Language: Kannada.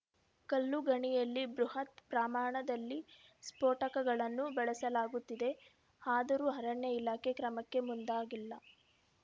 ಕಲ್ಲು ಗಣಿಯಲ್ಲಿ ಬೃಹತ್‌ ಪ್ರಮಾಣದಲ್ಲಿ ಸ್ಫೋಟಕಗಳನ್ನು ಬಳಸಲಾಗುತ್ತಿದೆ ಆದರೂ ಅರಣ್ಯ ಇಲಾಖೆ ಕ್ರಮಕ್ಕೆ ಮುಂದಾಗಿಲ್ಲ